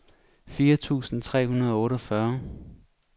fire tusind tre hundrede og otteogfyrre